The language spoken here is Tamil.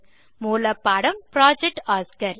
மூலப்பாடம் புரொஜெக்ட் ஒஸ்கார்